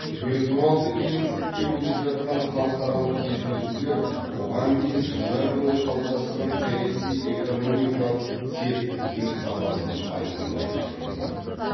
виртуалды кеңістікте өтіп жатқан халықаралық кездесулер бұған дейін жылдар бойы қалыптасқан саяси экономикалық серіктіктің сапасын айқандай түскендей